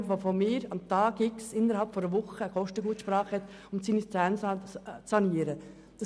Dieser hat nämlich am Tag X innerhalb einer Woche eine Kostengutsprache, um die Zähne sanieren zu lassen.